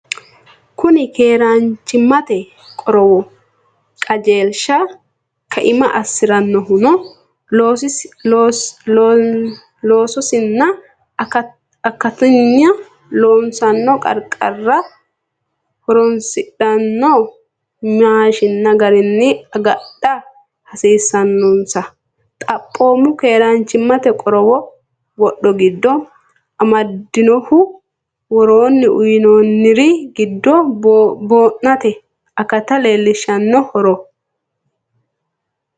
Kuni keeraanchimmate qorowo qajeelshi kaima assi’rannohuno loosinsa akatinna loossanno qarqarira ho’roonsidhanno maashiinna garinni agadha hasiissannonsa xaphoomu keeraanchimmate qorowo wodho giddo amadinnoho, Woroonni uyinoonniri giddo boo’nate akata leelinshanni horoon?